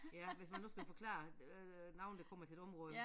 Ja hvis man nu skal forklare øh nogen der kommer til et område